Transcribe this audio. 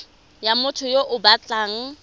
ya motho yo o batlang